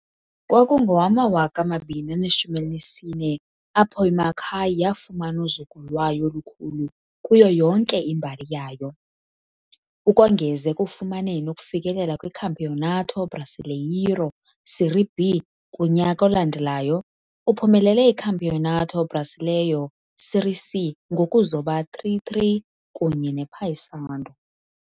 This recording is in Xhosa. Kwakungowama-2014 apho iMacaé yafumana uzuko lwayo olukhulu kuyo yonke imbali yayo. Ukongeza ekufumaneni ukufikelela kwiCampeonato Brasileiro Série B kunyaka olandelayo, uphumelele iCampeonato Brasileiro Série C ngokuzoba 3-3 kunye nePaysandu.